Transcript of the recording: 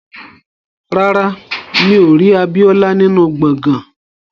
Rárá, mi ò rí Abíọ́lá nínú gbọ̀ngán